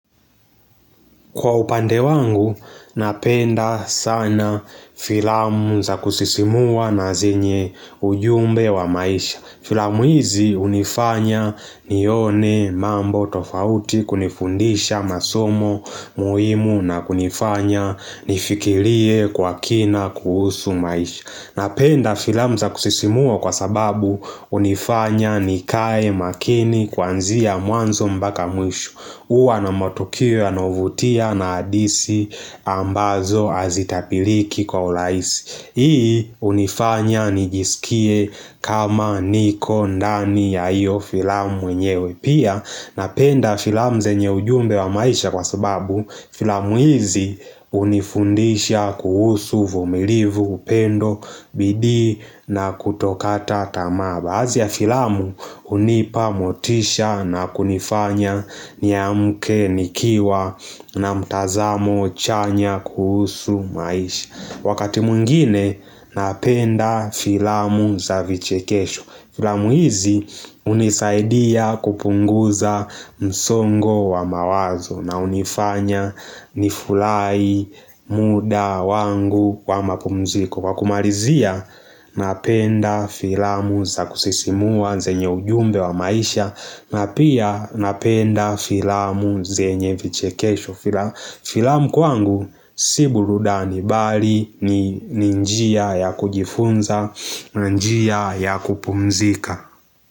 Kwa upande wangu, napenda sana filamu za kusisimua na zenye ujumbe wa maisha Filamu hizi hunifanya nione mambo tofauti kunifundisha masomo muhimu na kunifanya nifikirie kwa kina kuhusu maisha Napenda filamu za kusisimua kwa sababu hunifanya nikae makini kuanzia mwanzo mpaka mwisho hUwa na matokea yanayovutia na hadisi ambazo hazitabiliki kwa urahisi Hii hunifanya nijisikie kama niko ndani ya hiyo filamu mwenyewe pia Napenda filamu zenye ujumbe wa maisha kwa sababu filamu hizi hunifundisha kuhusu uvumilivu upendo bidii na kutokata tamaa baadhi ya filamu hunipa motisha na kunifanya niamke nikiwa na mtazamo chanya kuhusu maisha Wakati mwingine napenda filamu za vichekesho Filamu hizi hunisaidia kupunguza msongo wa mawazo na hunifanya nifurahi muda wangu wa mapumziko Kwa kumalizia, napenda filamu za kusisimua zenye ujumbe wa maisha na pia napenda filamu zenye vichekesho Filamu kwangu, si burudani bali ni njia ya kujifunza na njia ya kupumzika.